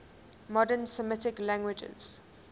modern semitic languages